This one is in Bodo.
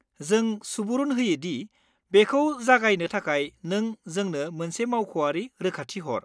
जों सुबुरुन होयो दि बेखौ जागायनो थाखाय नों जोंनो मोनसे मावख'आरि रोखाथि हर।